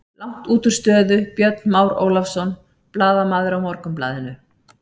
Langt útúr stöðu Björn Már Ólafsson, blaðamaður á Morgunblaðinu.